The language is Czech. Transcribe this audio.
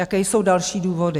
Jaké jsou další důvody?